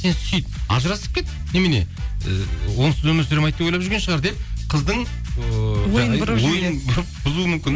сен сүйіт ажырасып кет немене ііі онсыз өмір сүре алмайды деп ойлап жүрген шығар деп қыздың ойын бұрып бұзуы мүмкін